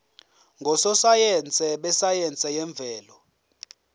ngososayense besayense yemvelo